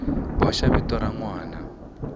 boxa vito ra n wana